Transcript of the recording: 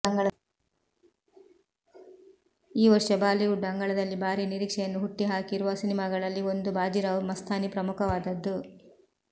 ಈ ವರ್ಷ ಬಾಲಿವುಡ್ ಅಂಗಳದಲ್ಲಿ ಭಾರೀ ನಿರೀಕ್ಷೆಯನ್ನು ಹುಟ್ಟಿ ಹಾಕಿರುವ ಸಿನಿಮಾಗಳಲ್ಲಿ ಒಂದು ಭಾಜೀರಾವ್ ಮಸ್ತಾನಿ ಪ್ರಮುಖವಾದದ್ದು